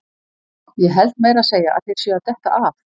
Ég held meira að segja að þeir séu að detta af!